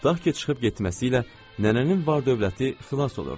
Tutaq ki, çıxıb getməsi ilə nənənin var-dövləti xilas olurdu.